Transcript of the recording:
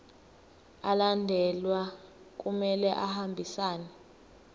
alandelayo kumele ahambisane